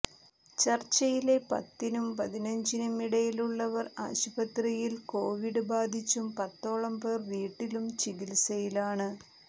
ചർച്ചിലെ പത്തിനും പതിനഞ്ചിനും ഇടയിലുള്ളവർ ആശുപത്രിയിൽ കോവിഡ് ബാധിച്ചും പത്തോളം പേർ വീട്ടിലും ചികിത്സയിലാണ്